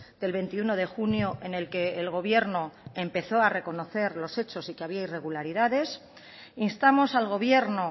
del veintiuno de junio en el que el gobierno empezó a reconocer los hechos y que había irregularidades instamos al gobierno